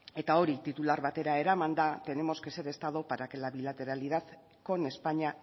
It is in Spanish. eta hori titular batera eramanda tenemos que ser estado para que la bilateralidad con españa